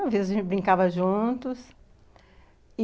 Às vezes, a gente brincava juntos.